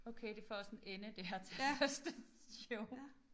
Okay det får også en ende det her tandbørsteshow